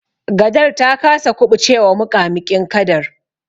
Gadar ta kasa kuɓucewa muƙamuƙin kadar.